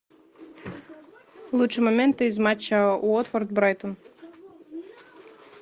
лучшие моменты из матча уотфорд брайтон